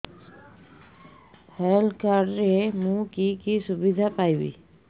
health card ରେ ମୁଁ କି କି ସୁବିଧା ପାଇବି